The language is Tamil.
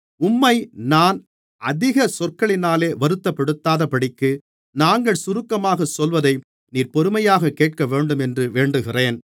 உம்மை நான் அதிக சொற்களினாலே வருத்தப்படுத்தாதபடிக்கு நாங்கள் சுருக்கமாகச் சொல்வதை நீர் பொறுமையாகக் கேட்கவேண்டுமென்று வேண்டுகிறேன்